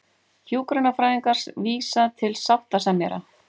Hjúkrunarfræðingar vísa til sáttasemjara